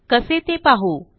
कसे ते पाहू